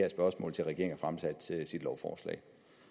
lovforslag